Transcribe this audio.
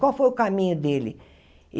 Qual foi o caminho dele?